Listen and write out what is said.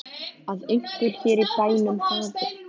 Að einhver hér í bænum hafi.